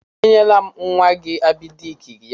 E nyela m nwa gị Abịdek ya taa.